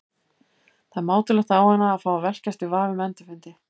Það er mátulegt á hana að fá að velkjast í vafa um endurfundi.